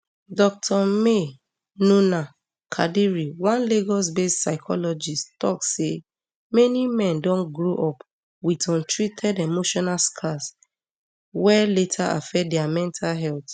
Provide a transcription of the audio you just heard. dr maynunah kadiri one lagosbased psychologist tok say many men don grow up wit untreated emotional scars wey later affect dia mental health